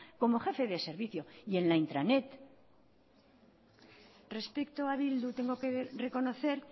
como jefe de servicio y en la intranet respecto a bildu tengo que reconocer